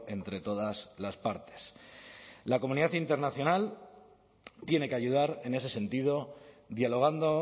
entre todas las partes la comunidad internacional tiene que ayudar en ese sentido dialogando